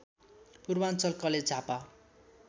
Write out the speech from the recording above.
Purvanchal college Jhapa